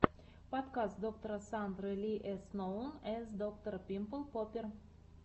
подкаст доктора сандры ли эс ноун эс доктор пимпл поппер